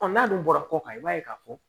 n'a dun bɔra kɔ kan i b'a ye k'a fɔ